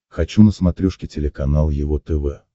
хочу на смотрешке телеканал его тв